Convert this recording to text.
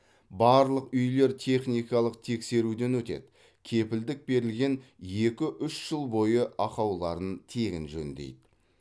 барлық үйлер техникалық тексеруден өтеді кепілдік берілген екі үш жыл бойы ақауларын тегін жөндейді